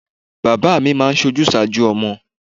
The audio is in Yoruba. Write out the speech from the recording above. Bàbá mi máa ń sojúsàájú ọmọ.